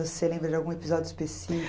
Você lembra de algum episódio